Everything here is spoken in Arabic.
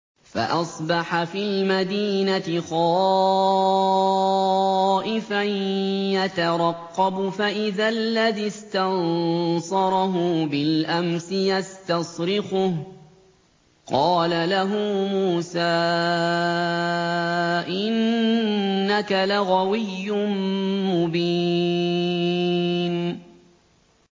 فَأَصْبَحَ فِي الْمَدِينَةِ خَائِفًا يَتَرَقَّبُ فَإِذَا الَّذِي اسْتَنصَرَهُ بِالْأَمْسِ يَسْتَصْرِخُهُ ۚ قَالَ لَهُ مُوسَىٰ إِنَّكَ لَغَوِيٌّ مُّبِينٌ